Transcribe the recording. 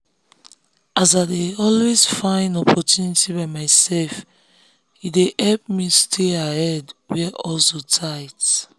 as i dey always find opportunity by myself e dey help me stay ahead where hustle tight.